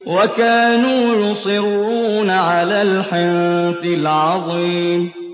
وَكَانُوا يُصِرُّونَ عَلَى الْحِنثِ الْعَظِيمِ